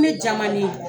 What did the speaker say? Ne jamalen